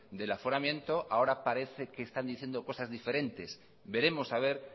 del aforamiento y ahora parece que están diciendo cosas diferentes veremos a ver